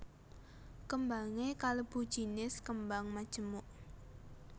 Kembangé kalebu jinis kembang majemuk